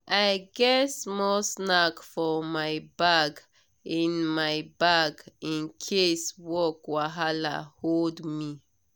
i get small snack for my bag in my bag in case work wahala hold me.